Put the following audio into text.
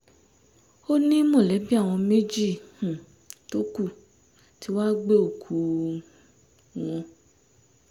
ó ní mọ̀lẹ́bí àwọn méjì um tó kù tí wàá gbé òkú um wọn